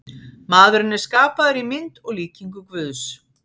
Maðurinn er skapaður í mynd og líkingu Guðs.